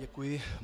Děkuji.